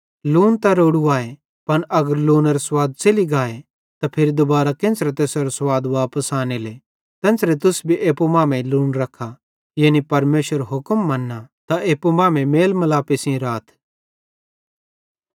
लून त रोड़ू आए पन अगर लूनेरो स्वाद च़ेलि गाए त फिरी दुबारां केन्च़रे तैसेरो स्वाद वापस आनेले तेन्च़रां तुस भी एप्पू मां लून रखा यानी परमेशरेरो हुक्म मन्ना त एप्पू मांमेइं मेल मिलापे सेइं राथ